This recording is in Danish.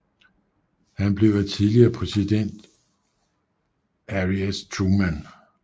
Han blev af tidligere præsident Harry S